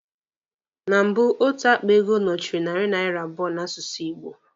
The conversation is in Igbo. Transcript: Na mbụ, otu akpa ego narị naira abụọ n'asụsụ Igbo.